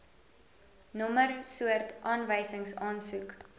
nommer soort aanwysingsaansoek